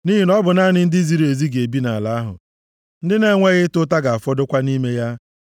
nʼihi na ọ bụ naanị ndị ziri ezi ga-ebi nʼala ahụ, ndị na-enweghị ịta ụta ga-afọdụkwa nʼime ya.